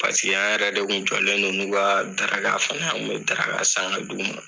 Paseke an yɛrɛ de kun jɔlen don n'u ka daraka fana ye, an kun bi daraka san ka d'u ma.